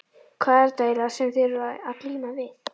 Hvað er þetta eiginlega sem þið eruð að glíma við?